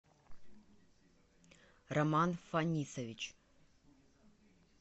роман фонисович